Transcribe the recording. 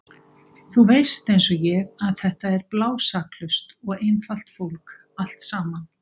Þú veist einsog ég að þetta er blásaklaust og einfalt fólk allt saman.